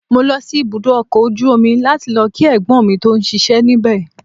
Mo lọ sí ibùdó ọkọ̀ ojú omi láti lọ kí Ẹ̀gbọ́n mi tó ń ṣíṣe níbẹ̀.